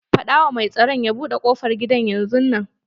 Faɗa wa mai tsaro ya buɗe ƙofar gida yanzun nan!